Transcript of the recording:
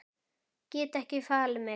Get ekki falið mig.